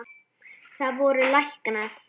Það voru læknar.